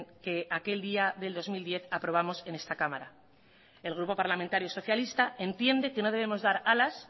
que aquel día del dos mil diez aprobamos en esta cámara el grupo parlamentario socialista entiende que no debemos dar alas